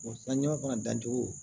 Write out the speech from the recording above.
sanjiman fana dancogo